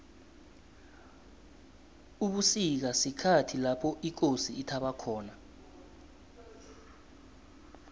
ubusika sikhathi lapho ikosi ithaba khona